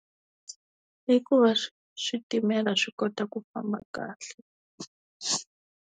Hi ku va switimela swi kota ku famba kahle.